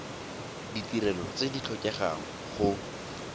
ditirelo tse di tlhokegang go